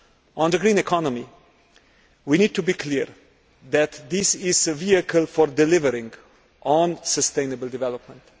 On the green economy, we need to be clear that this is a vehicle for delivering on sustainable development.